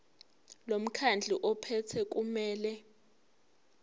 lomkhandlu ophethe kumele